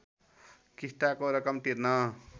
किस्ताको रकम तिर्न